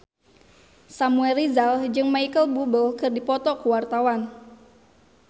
Samuel Rizal jeung Micheal Bubble keur dipoto ku wartawan